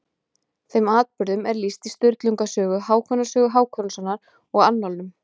Þeim atburðum er lýst í Sturlunga sögu, Hákonar sögu Hákonarsonar og annálum.